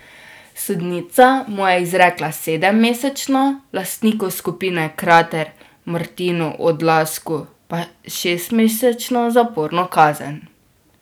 Sodnica mu je izrekla sedemmesečno, lastniku skupine Krater Martinu Odlazku pa šestmesečno zaporno kazen.